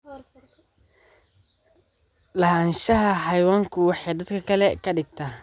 Lahaanshaha xayawaanku waxay dadka ka dhigtaa.